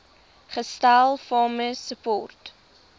gestel farmer support